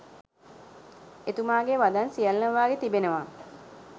එතුමාගේ වදන් සියල්ලම වාගේ තිබෙනවා